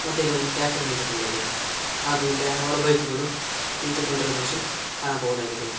ಮತ್ತೆ ಇಲ್ಲಿ ಒಂದು ಟ್ಯಾಕರ್ ನಿಂತುಕೊಂಡಿದೆ ಹಾಗು ಇಲ್ಲಿ ಹಲವಾರು ಬೈಕುಗಳು ನಿಂತುಕೊಂಡಿರುವ ದೃಶ್ಯ ಕಾಣಬೌದಾಗಿದೆ.